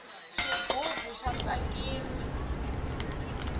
xigubu xa tsakisa